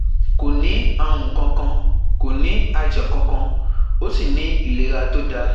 Kò ní àrùn kankan, kò ní àìsàn kankan, ó sì ní ìlera tó dáa